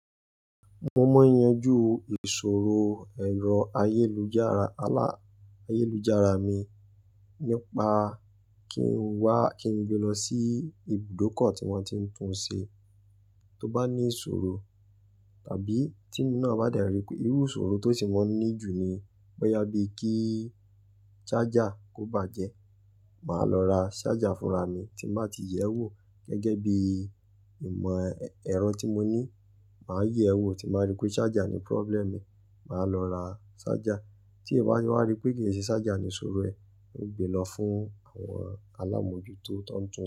Mo mọ̀ n yanjú ìṣòro ẹ̀rọ ayélujára, ayélujára mi nípa kí n wá, kí n gbé lọ sí ibùdókọ̀ tí wọ́n ti ń tún ṣe, tó bá ní ìṣòro tàbí tí e mi náà bá de ri pé irú ìṣòro tó ti mọ ní ju ni, bẹ́ yá bíi kí ṣájà kó bàjẹ́, màá lọ ra ṣájà fúnra mi tí màá ti yẹ̀ ẹ́ wò gẹ́gẹ́ bí ìmọ̀ ẹ̀rọ tí mo ní. Màá yẹ̀ ẹ́ wò tí màá rí pé ṣájà ni problem mi, màá lọ ra ṣájà. Tí è bá wá rí pé kì í ṣe ṣájà ni ìṣòro ẹ, ó gbe lọ fún àwọn alámọ̀jútó tó ń tún.